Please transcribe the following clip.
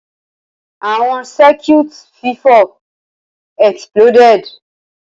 Awọn Circuit fifọ exploded.